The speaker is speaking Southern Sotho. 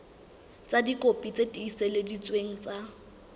ka dikopi tse tiiseleditsweng tsa